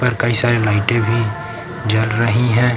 और कई सारी लाइटें भी जल रही हैं।